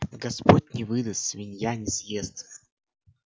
господь не выдаст свинья не съест